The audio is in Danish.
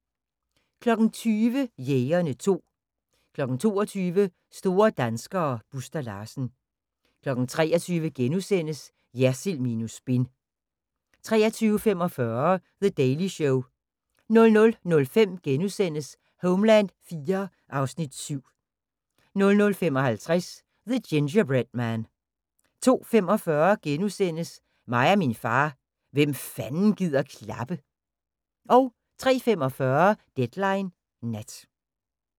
20:00: Jægerne 2 22:00: Store danskere - Buster Larsen 23:00: Jersild minus spin * 23:45: The Daily Show 00:05: Homeland IV (Afs. 7)* 00:55: The Gingerbread Man 02:45: Mig og min far – hvem fanden gider klappe? * 03:45: Deadline Nat